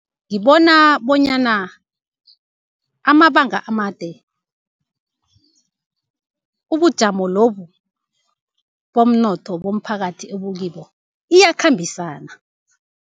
Ngibona bonyana amabanga amade, ubujamo lobu bomnotho bomphakathi obukibo iyakhambisana.